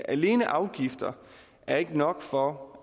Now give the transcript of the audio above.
alene afgifter er ikke nok for